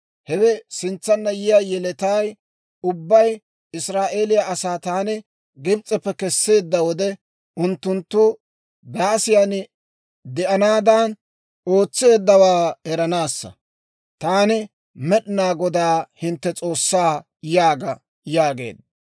Hewe sintsanna yiyaa yeletay ubbay Israa'eeliyaa asaa taani Gibs'eppe Kesseedda wode, unttunttu daasiyan de'anaadan ootseeddawaa eranaassa. Taani Med'inaa Godaa hintte S'oossaa› yaaga» yaageedda.